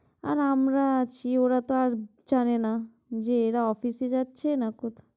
আর আমরা আছি ওরা তো জানে না যে এরা office এ যাচ্ছে না কো~